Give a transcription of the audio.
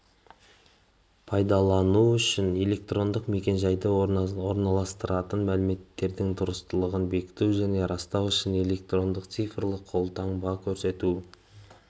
пайдалану үшін электрондық мекен-жайды орналастыратын мәліметтердің дұрыстылығын бекіту және растау үшін электрондық цифрлық қолтаңбаны көрсету